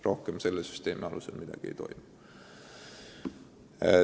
Rohkem selle süsteemi alusel midagi ei toimu.